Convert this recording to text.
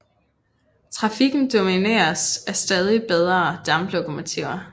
Trafikken domineres af stadig bedre damplokomotiver